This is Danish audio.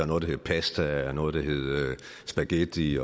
noget der hed pasta noget der hed spaghetti